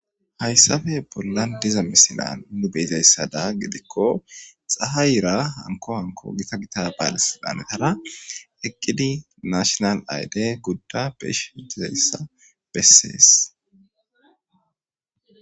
Hayssappe bollan diza misilan nu be'izaysada gidiko, xahayera hanko hanko gita gita bale siltanetara eqqidi naashinal ayde gudda be'ishe dizayssa besees.